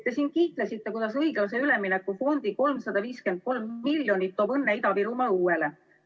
Te siin kiitlesite, kuidas õiglase ülemineku fondi 353 miljonit toob õnne Ida-Virumaa õuele.